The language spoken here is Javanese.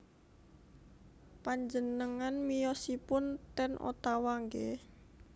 Panjenengan miyosipun ten Ottawa nggih